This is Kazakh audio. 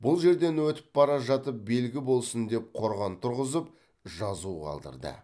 бұл жерден өтіп бара жатып белгі болсын деп қорған тұрғызып жазу қалдырды